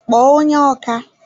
kpọọ onye ọkà!